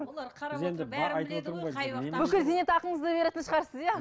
бүкіл зейнетақыңызды беретін шығарсыз иә